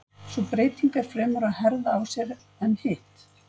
Sú breyting er fremur að herða á sér en hitt.